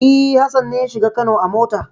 E, Hassan ne ya shiga Kano a mota.